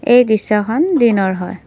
এই দৃশ্যখন দিনৰ হয়।